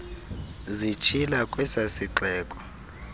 zitshila kwesa sixeko